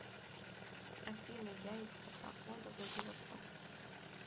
афина яйца погода владивосток